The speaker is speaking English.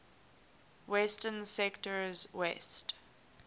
western sectors west